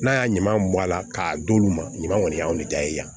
N'a y'a ɲuman mɔ a la k'a d'olu ma ɲuman kɔni y'anw de da ye yan